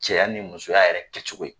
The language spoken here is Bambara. Cɛya ni musoya yɛrɛ kɛcogo in ye.